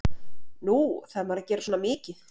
Nú, þarf maður að gera svona mikið?